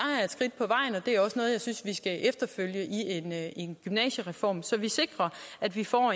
det er også noget jeg synes vi skal efterfølge i en gymnasiereform så vi sikrer at vi får